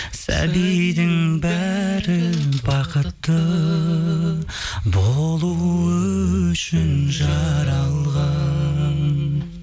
сәбидің бәрі бақытты болуы үшін жаралған